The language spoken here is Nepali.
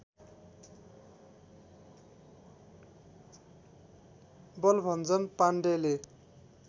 बलभञ्जन पाण्डेले